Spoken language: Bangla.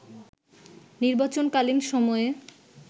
নির্বাচনকালীন সময়ে